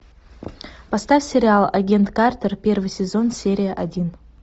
поставь сериал агент картер первый сезон серия один